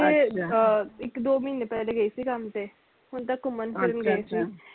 ਅਹ ਇਕ ਦੋ ਮਹੀਨੇ ਪਹਿਲਾ ਗਏ ਸੀ ਕੰਮ ਤੇ ਹੁਣ ਤੇ ਘੁੰਮਣ ਫਿਰਨ ਗਏ ਸੀ